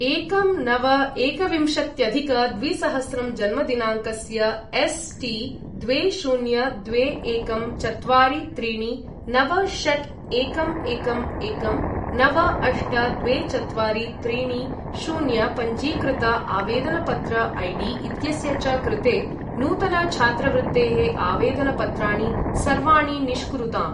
एकं नव एकविंशत्यधिक द्विसहस्रं जन्मदिनाङ्कस्य एस् टि द्वे शून्य द्वे एकं चत्वारि त्रीणि नव षट् एकं एकं एकं नव अष्ट द्वे चत्वारि त्रीणि शून्य पञ्जीकृत आवेदनपत्र ऐडी इत्यस्य च कृते नूतन छात्रवृत्तेः आवेदनपत्राणि सर्वाणि निष्कुरुताम्।